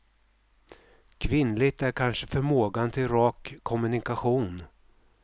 Kvinnligt är kanske förmågan till rak kommunikation.